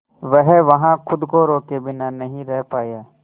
वह वहां खुद को रोके बिना नहीं रह पाया